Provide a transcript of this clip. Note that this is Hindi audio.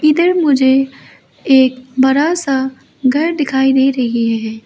इधर मुझे एक बड़ा सा घर दिखाई दे रही है।